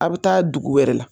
Aw bɛ taa dugu wɛrɛ la